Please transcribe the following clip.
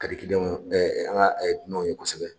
Kadi kiliyanw ɛ an ga dunanw ye kosɛbɛ